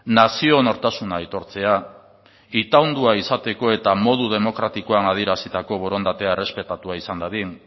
nazio nortasuna aitortzea itaundua izateko eta modu demokratikoan adierazitako borondatea errespetatua izan dadin